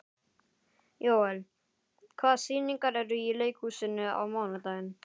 Jóel, hvaða sýningar eru í leikhúsinu á mánudaginn?